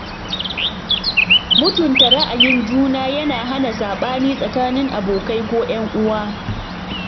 Mutunta ra’ayin juna yana hana saɓani tsakanin abokai ko 'yan uwa